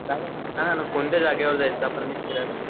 चालेल ना सांगा मग कोणत्या जागेवर जायचं आपण फिरायला.